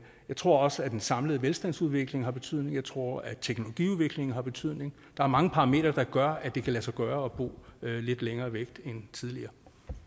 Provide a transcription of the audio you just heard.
tror også at den samlede velstandsudvikling har betydning jeg tror at teknologiudviklingen har betydning der er mange parametre der gør at det kan lade sig gøre at bo lidt længere væk end tidligere